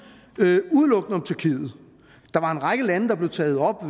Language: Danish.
udelukkende om tyrkiet der var en række lande der blev taget op